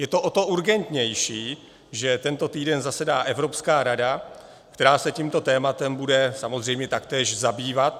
Je to o to urgentnější, že tento týden zasedá Evropská rada, která se tímto tématem bude samozřejmě taktéž zabývat.